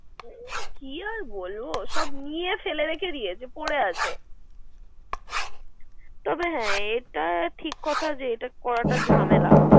কি আর বল সবি নিয়ে ফেরে রেখে দিয়েছে। পরে আছে তবে হ্যা এটা ঠিক কথা যে করাটা জামেলা।